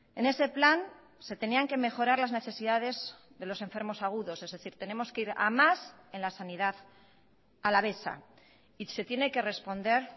en ese plan se tenían que mejorar las necesidades de los enfermos agudos es decir tenemos que ir a más en la sanidad alavesa y se tiene que responder